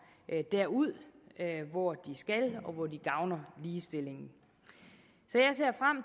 derud hvor de skal og hvor de gavner ligestillingen